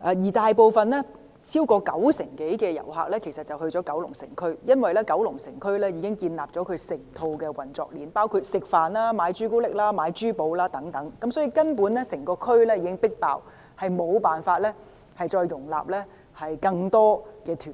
來港，當中超過九成多遊客會前往九龍城區，因為該區已建立整套運作鏈，包括用膳、購買朱古力及珠寶等，因此，整個地區根本已"迫爆"，無法容納更多旅行團。